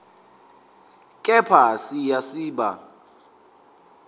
kepha siya siba